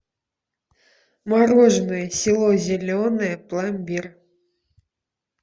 мороженое село зеленое пломбир